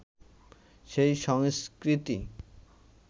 সেই সংস্কৃতি